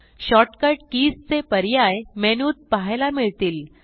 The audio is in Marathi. शॉर्टकट कीज चे पर्याय मेनूत पहायला मिळतील